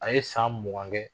A ye san mugan kɛ